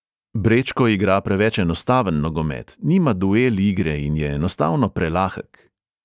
Brečko igra preveč enostaven nogomet, nima duel igre in je enostavno prelahek.